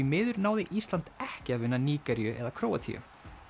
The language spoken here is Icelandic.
miður náði Ísland ekki að vinna Nígeríu eða Króatíu